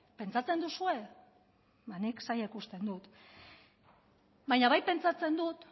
pentsatzen duzue ba nik zaila ikusten dut baina bai pentsatzen dut